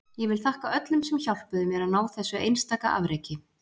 Ég vil þakka öllum sem hjálpuðu mér að ná þessu einstaka afreki.